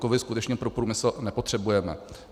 Kovy skutečně pro průmysl nepotřebujeme.